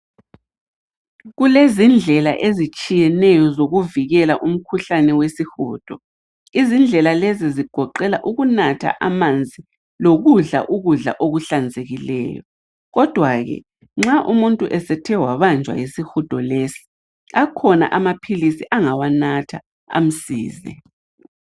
Kulezindlela ezitshiyeneyo ukuvikela umkhuhlane wesihudo. Izindlela lezi zigoqela ukunatha amanzi lokudla ukudla okuhlanzekileyo. Kodwa ke nxa umuntu esethe wabanjwa yisihudo lesi akhona amaphilisi angawanatha amsize.